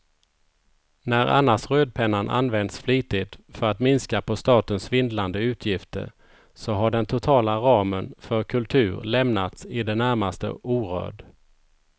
När annars rödpennan använts flitigt för att minska på statens svindlande utgifter så har den totala ramen för kultur lämnats i det närmaste orörd.